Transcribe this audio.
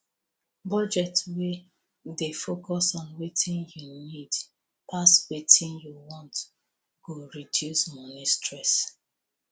budget wey dey focus on wetin you need pass wetin you want go reduce moni stress